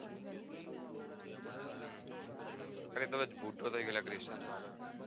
અરે કદાચ બુઠો થઈ ગ્યો Christian